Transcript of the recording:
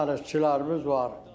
Dənizçilərimiz var.